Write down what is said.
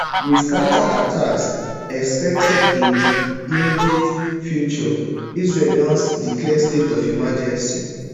wit counterattacks expected in di immediate future israel don declare state of emergency